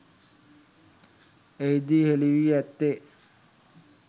එහිදී හෙළි වී ඇත්තේ